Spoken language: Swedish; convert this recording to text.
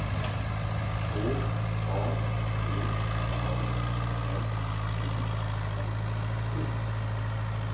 H A G A L U N D